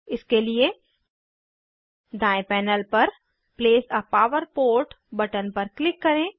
इसके लिए दायें पैनल पर place a power port button पर क्लिक करें